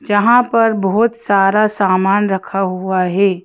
जहां पर बहोत सारा सामान रखा हुआ हे।